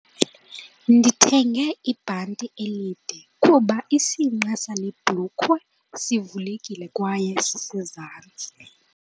Ndithenge ibhanti elide kuba isinqe sale bhulukhwe sivulekile kwaye sisezantsi.